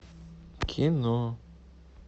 кино